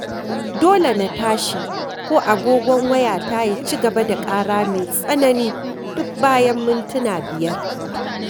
Dole na tashi, ko agogon wayata ya ci gaba da ƙara mai tsanani duk bayan mintuna biyar.